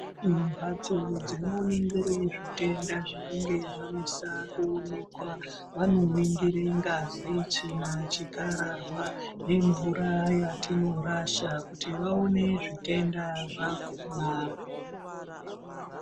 Mbatso dzinoningire zvitenda zvinenge zvanesa kuonekwa. Vanoningire ngazi, tsvina, chikararwa nemvura yatinorasha kuti vaone zvitenda zvakona.